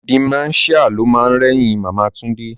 Dementia lo ma rẹ́yìn Màmá Túndé